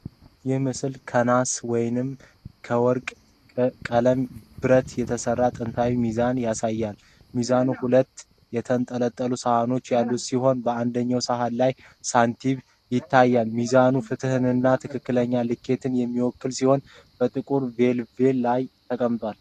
ይህ ምስል ከናስ ወይም ከወርቃማ ቀለም ብረት የተሰራ ጥንታዊ ሚዛን ያሳያል። ሚዛኑ ሁለት የተንጠለጠሉ ሰሃኖች ያሉት ሲሆን፣ በአንደኛው ሰሃን ላይ ሳንቲሞች ይታያሉ። ሚዛኑም ፍትሕንና ትክክለኛ ልኬትን የሚወክል ሲሆን፣ በጥቁር ቬልቬት ላይ ተቀምጧል።